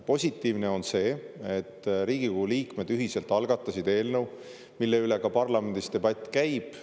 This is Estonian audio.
Positiivne on see, et Riigikogu liikmed ühiselt algatasid eelnõu, mille üle ka parlamendis debatt käib.